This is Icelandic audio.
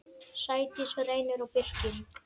Sædís, Reynir og Birkir.